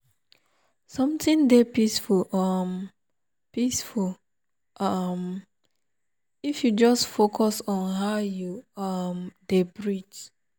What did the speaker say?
something dey peaceful um peaceful um if you just focus on how you um dey breathe.